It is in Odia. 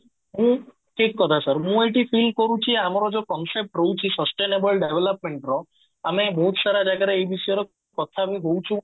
ହୁଁ ଠିକ କଥା sir ମୁଁ ଏଠି feel କରୁଛି ଆମର ଯୋଉ concept ରହୁଛି sustainable development ର ଆମେ ବହୁତ ସାରା ଜାଗାରେ ଏଇ ବିଷୟରେ କଥା ବି ହଉଚୁ